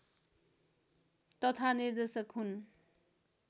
तथा निर्देशक हुन्